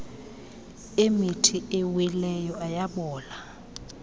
emithi awileyo ayabola